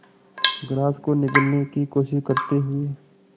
grass को निगलने की कोशिश करते हुए